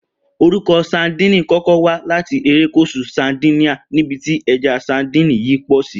Orúko̩ ‘Sadíìni’ kó̩ko̩ wá láti erékùs̩ù Sardinia ní́bi tí e̩ja sadíìnì yìí pò̩ sí